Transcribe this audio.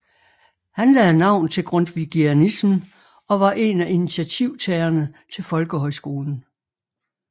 Han lagde navn til grundtvigianismen og var en af initiativtagerne til folkehøjskolen